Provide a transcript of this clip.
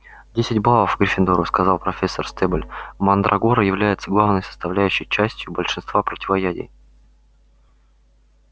десять баллов гриффиндору сказала профессор стебль мандрагора является главной составляющей частью большинства противоядий